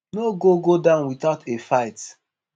no go go down without a fight.